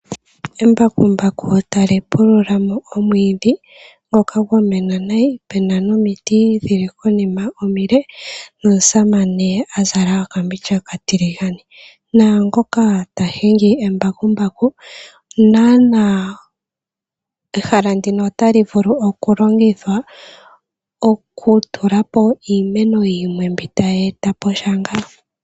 Embakumbaku tali pulula mo omwiidhi ngoka gwa mena nayi pena nomiiti dhili konima omile no omusamane azala okambindja okatiligane. Naangoka ta hingi embakumbaku. Nanaa ehala ndino otali vulu oku longithwa oku tulapo iimeno yimwe mbi tayi etaposha.